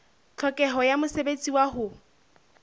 tlhokeho ya mosebetsi wa ho